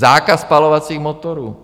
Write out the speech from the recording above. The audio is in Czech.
Zákaz spalovacích motorů.